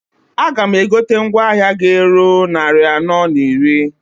A ga m egote mgwa ahịa g'eru nnarị anọọ na iri.